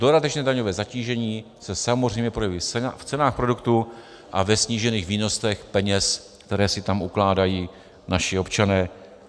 Dodatečné daňové zatížení se samozřejmě projeví v cenách produktů a ve snížených výnosech peněz, které si tam ukládají naši občané.